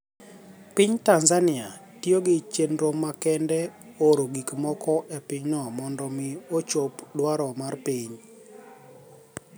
piniy tanizaniia tiyo gi cheniro makenide oro gikmoko epiny no monido omi ochop dwaro mar piniy.